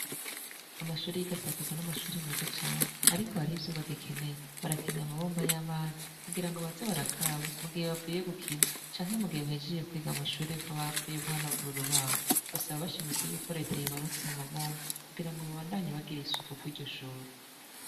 Amashure y’igasa kuza n’amashure meza cane, ariko hariho ivyo bagikeneye. Barakeneye amabomba y’amazi kugira ngo baze barakaraba mu gihe bavuye gukina canke mu gihe bahejeje kwiga mwishure nkababa bavuye guhanagura urubaho. Basaba bashimitse yuko reta yobarutira amabomba kugira ngo babandanye bagira isuko kuriryo shure.